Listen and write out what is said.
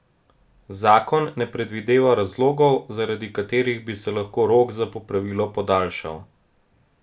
Zakon ne predvideva razlogov, zaradi katerih bi se lahko rok za popravilo podaljšal.